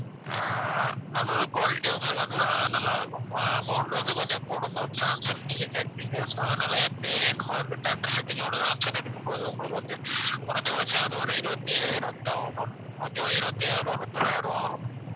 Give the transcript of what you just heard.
அது வந்து quality யும் உங்களுக்கு வந்த அஹ் நல்லாயிருக்கும் அஹ் amount வந்து கொஞ்சம் கூடும் ma'am சாம்சங் நீங்க கேட்கறீங்க so அதனால இப்படி நம்ம வந்து theater setting ஓட சாம்சங் எடுக்கும் போது உங்களுக்கு வந்து குறைந்தபட்சம் அது ஒரு இருவத்தி ஐயாயிரம் ரூபாய் கிட்ட ஆகும் ma'am okay வா இருவத்தி ஐயாயிரம் ரூபாய் முப்பது ஆயிரம் ரூபாய் ஆகும்